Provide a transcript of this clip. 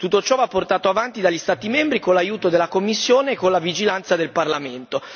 Tutto ciò va portato avanti dagli Stati membri, con l'aiuto della Commissione e con la vigilanza del Parlamento.